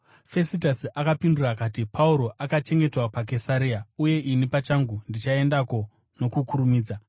Fesitasi akapindura akati, “Pauro akachengetwa paKesaria, uye ini pachangu ndichaendako nokukurumidza.